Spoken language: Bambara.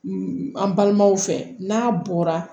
an balimaw fɛ n'a bɔra